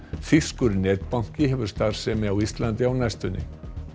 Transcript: þýskur netbanki hefur starfsemi á Íslandi á næstunni